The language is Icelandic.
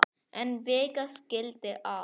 En vika skildi að.